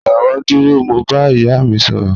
Jọwọ duro, Mo n ba iya mi sọrọ